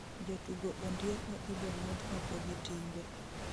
Jatugo Ondieko ibong'udh oko gi timbe